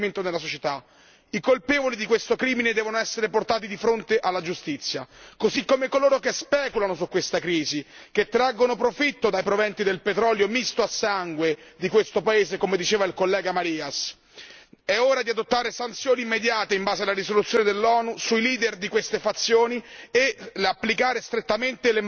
I colpevoli di questo crimine devono essere portati di fronte alla giustizia, così come coloro che speculano su questa crisi, che traggono profitto dai proventi del petrolio misto a sangue di questo paese, come diceva il collega Marias. È ora di adottare sanzioni immediate in base alla risoluzione dell'ONU sui leader di queste fazioni e applicare strettamente l'embargo delle armi.